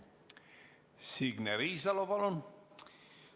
Signe Riisalo, palun!